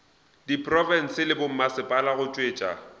diprofense le bommasepala go tšwetša